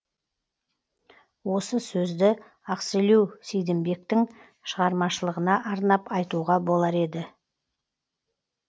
осы сөзді ақселеу сейдімбектің шығармашылығына арнап айтуға болар еді